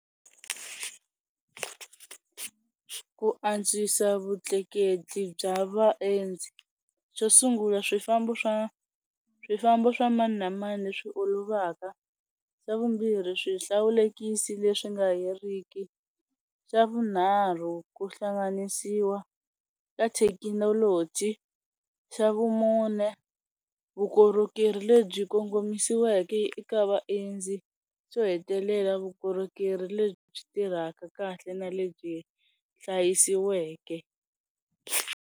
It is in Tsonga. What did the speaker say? Ku antswisa vutleketli bya vaendzi xo sungula swifambo swa swifambo swa mani na mani leswi olovaka, swa vumbirhi swihlawulekisi leswi nga heriki, xa vunharhu ku hlanganisiwa ka thekinoloji, xa vumune vukorhokeri lebyi kongomisiweke eka vaendzi, swo hetelela vukorhokeri lebyi tirhaka kahle na lebyi hlayisiweke.